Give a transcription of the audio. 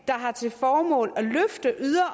har til formål